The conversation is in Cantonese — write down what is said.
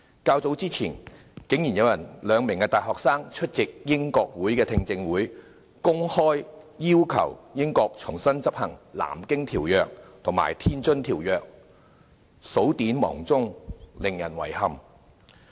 較早前，竟然有兩名大學生出席英國國會聽證會，公開要求英國重新執行《南京條約》及《天津條約》，數典忘祖，令人遺憾。